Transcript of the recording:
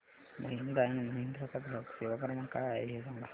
Mahindra and Mahindra चा ग्राहक सेवा क्रमांक काय आहे हे सांगा